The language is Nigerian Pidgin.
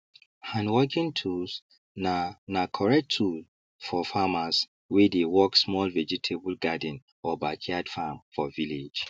handworking tools na na correct tool for farmers wey dey work small vegetable garden or backyard farm for village